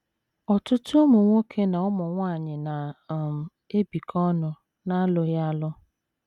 Ọtụtụ ụmụ nwoke na ụmụ nwanyị na - um ebikọ ọnụ n’alụghị alụ.